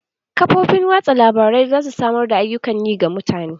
Kafofin watsa labarai za su samar da ayyukan yi ga mutane.